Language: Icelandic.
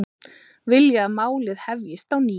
Vilja að málið hefjist á ný